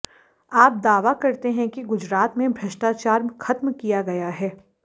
आप दावा करते हैं कि गुजरात में भ्रष्टाचार खत्म किया है